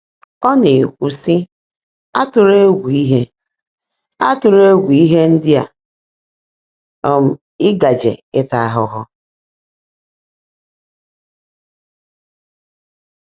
Ọ na-ekwu, sị: “Atụla egwu ihe “Atụla egwu ihe ndị um ị gaje ịta ahụhụ.